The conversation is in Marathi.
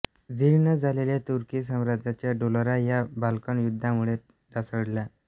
जीर्ण झालेल्या तुर्की साम्राज्याचा डोलारा या बाल्कन युद्धामुळे ढासळला